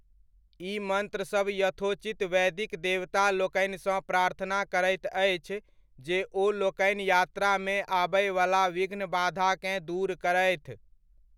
ई मन्त्रसभ यथोचित वैदिक देवता लोकनिसँ प्रार्थना करैत अछि जे ओलोकनि यात्रामे आबयवला विघ्न बाधाकेँ दूर करथि।